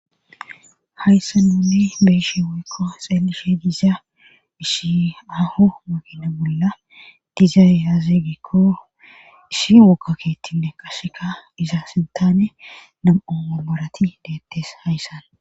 hayssa nunni beeshi wuykko xeelishe diza isshi aho makina bolla dizayyazeegikko issi wokkakeettinne qasheka iza sintane nam7o amarati deettes hayssan